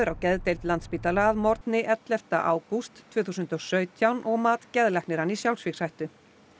á geðdeild Landspítala að morgni ellefta ágúst tvö þúsund og sautján og mat geðlæknir hann í sjálfsvígshættu